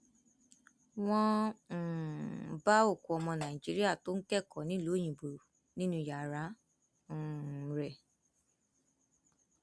wọn um bá òkú ọmọ nàìjíríà tó ń kẹkọọ nílùú òyìnbó nínú yàrá um rẹ